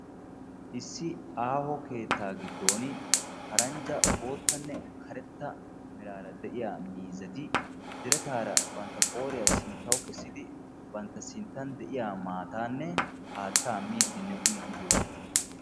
Issi aaho keettaa giddon paranjja boottanne karetta meraara de'iya miizzati birataara bantta qooriya sinttauwu kessidi bantta sinttan de'iya maataanne haattaa miiddinne uyiiddi doosona.